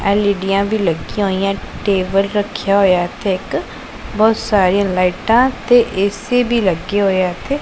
ਐਲ_ਈ_ਡੀਆਂ ਵੀ ਲੱਗਿਆਂ ਹੋਈਐਂ ਟੇਬਲ ਰੱਖਿਆ ਹੋਇਐ ਇੱਥੇ ਇੱਕ ਬਹੁਤ ਸਾਰੀਆਂ ਲਾਈਟਾਂ ਤੇ ਏ_ਸੀ ਭੀ ਲੱਗੇ ਹੋਏ ਐ ਇੱਥੇ।